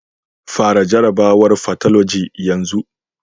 Fara jarrabawar fathology yanzu.